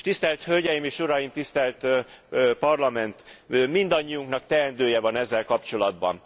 És tisztelt hölgyeim és uraim, tisztelt Parlament, mindannyiunknak teendője van ezzel kapcsolatban.